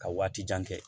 Ka waati jan kɛ